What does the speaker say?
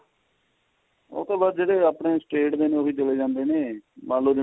ਉਹ ਤਾਂ ਬੱਸ ਜਿਹੜੇ ਆਪਣੇ state ਨੇ ਉਹੀ ਚਲੇ ਜਾਂਦੇ ਨੇ ਮੰਨ ਲੋ ਜਿਵੇਂ